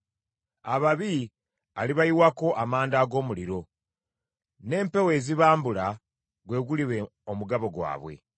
Ababi alibayiwako amanda ag’omuliro; n’empewo ezibambula gwe guliba omugabo gwabwe.